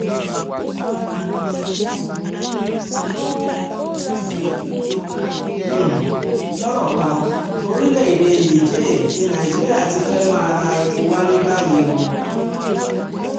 um lọ́rọ̀ kan orílẹ̀-èdè níjẹ̀ẹ́ ní nàìjíríà ti fẹ́ẹ̀ máa ra epo wálé báyìí o um